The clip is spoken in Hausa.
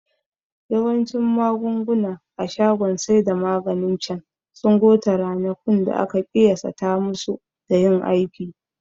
Yawancin magunguna a shagon saida maganin cen sun gota ranakun da aka ƙiyasata masu dan yin aiki